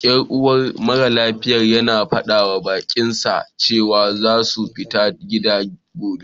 Yan uwar maralafiyar ya faɗawa baƙinsa cewa za su tafi gida gobe..